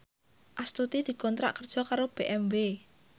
Astuti dikontrak kerja karo BMW